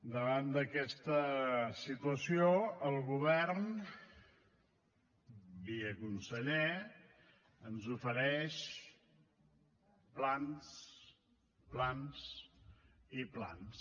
davant d’aquesta situació el govern via conseller ens ofereix plans plans i plans